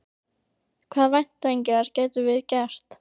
Hvaða væntingar getum við gert?